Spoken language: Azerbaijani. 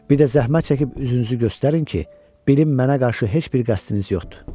Bir də zəhmət çəkib üzünüzü göstərin ki, bilim mənə qarşı heç bir qəsdiniz yoxdur.